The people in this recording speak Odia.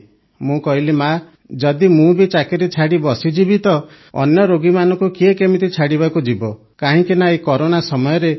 ମୁଁ କହିଲି ମାଆ ଯଦି ମୁଁ ବି ଚାକିରି ଛାଡ଼ି ବସିଯିବି ତ ଅନ୍ୟ ରୋଗୀମାନଙ୍କୁ କିଏ କେମିତି ଛାଡ଼ିବାକୁ ଯିବ କାହିଁକିନା ଏହି କରୋନା ସମୟରେ ସମସ୍ତେ ଛାଡ଼ି ପଳାଉଛନ୍ତି